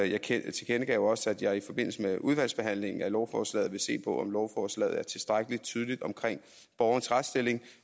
jeg tilkendegav også at jeg i forbindelse med udvalgsbehandlingen af lovforslaget vil se på om lovforslaget er tilstrækkelig tydeligt omkring borgerens retsstilling